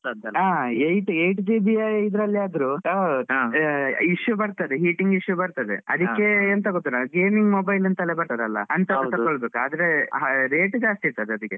ಹಾ eight eight GB ಅಲ್ ಆದ್ರು issue ಬರ್ತದೆ heating issue ಬರ್ತದೆ. ಅದಕ್ಕೆ ಎಂತ ಗೊತ್ತುಂಟ gaming mobile ಅಂತ ಬರ್ತದೆ ಅಲ ಅಂತದು ತಗೋಬೇಕು. ಆದ್ರೆ rate ಜಾಸ್ತಿ ಇರ್ತದೆ ಅದ್ಕೆ.